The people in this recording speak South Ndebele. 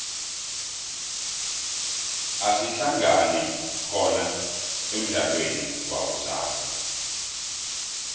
asihlangane khona emudlalweni wakusasa